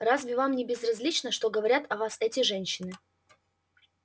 разве вам не безразлично что говорят о вас эти женщины